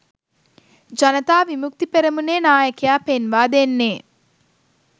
ජනතා විමුක්ති පෙරමුණේ නායකයා පෙන්වා දෙන්නේ.